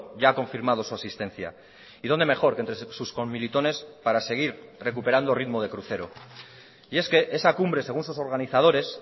ya ha confirmado su asistencia y donde mejor que entre sus conmilitones para seguir recuperando ritmo de crucero y es que esa cumbre según sus organizadores